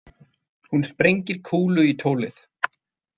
Hún sprengir kúlu í tólið.